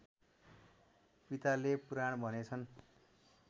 पिताले पुराण भनेछन्